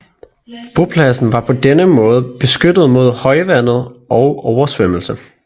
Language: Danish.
Bopladsen var på denne måde beskyttet mod højvandet og oversvømmelse